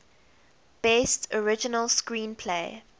best original screenplay